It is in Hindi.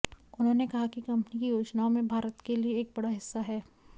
उन्होंने कहा कि कंपनी की योजनाओं में भारत के लिए एक बड़ा हिस्सा है